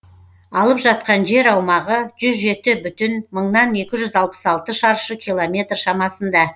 алып жатқан жер аумағы жүз жеті бүтін мыңнан екі жүз алпыс алты шаршы километр шамасында